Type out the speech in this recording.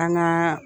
An gaa